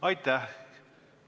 Aitäh!